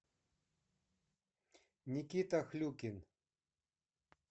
никита хлюкин